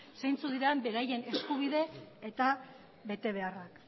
zeintzuk diren beraien eskubide eta betebeharrak